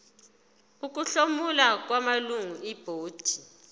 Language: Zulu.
ukuhlomula kwamalungu ebhodi